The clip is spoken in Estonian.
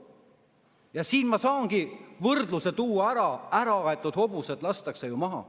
Ja siin ma saangi tuua võrdluse: äraaetud hobused lastakse ju maha.